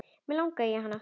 Mig langaði í hana.